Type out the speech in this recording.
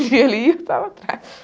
Onde ele ia, eu estava atrás.